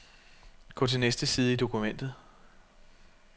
Gå til næste side i dokumentet.